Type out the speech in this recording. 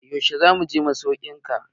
Yaushe zamu je masaukin ka?